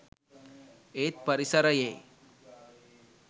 ඒත් පරිසරයේ